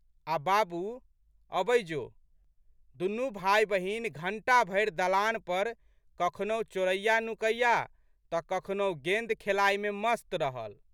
आ बाबू, अबै जो। दुनू भाइबहिन घंटा भरि दलान पर कखनहु चोरैयानुकैया तऽ कखनहु गेंद खेलाइमे मस्त रहल।